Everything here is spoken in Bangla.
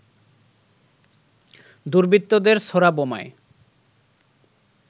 দুর্বৃত্তদের ছোড়া বোমায়